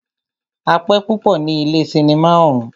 A pẹ́ púpọ ní ilé cinimá ọ̀ún.